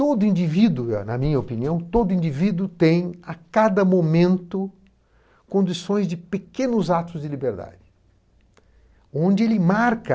Todo indivíduo, na minha opinião, todo indivíduo tem a cada momento condições de pequenos atos de liberdade, onde ele marca.